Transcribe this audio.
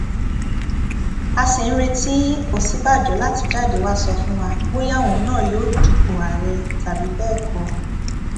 a ṣì ń retí òsínbàjò láti jáde wàá sọ fún wa bóyá òun náà yóò dupò àárẹ tàbí bẹẹ kọ